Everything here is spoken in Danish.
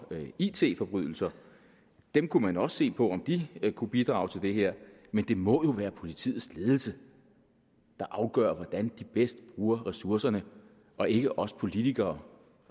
af it forbrydelser der kunne man også se på om de kunne bidrage til det her men det må jo være politiets ledelse der afgør hvordan de bedst bruger ressourcerne og ikke os politikere